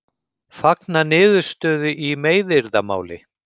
Fagna niðurstöðu í meiðyrðamáli